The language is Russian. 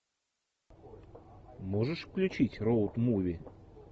можешь включить роуд муви